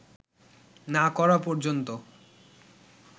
না করা পর্যন্ত